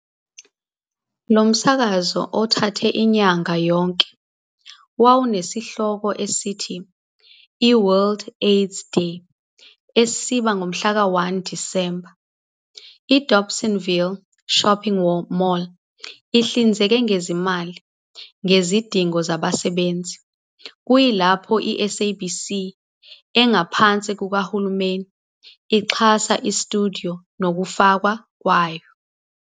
Lo msakazo othathe inyanga yonke wawunesihloko esithi, 'iWorld AIDS Day' esiba ngomhlaka 1 Disemba. IDobsonville Shopping Mall ihlinzeke ngezimali ngezidingo zabasebenzi, kuyilapho iSABC engaphansi kukahulumeni ixhasa istudiyo nokufakwa kwayo.